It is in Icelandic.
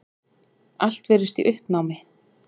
Allt virðist í uppnámi.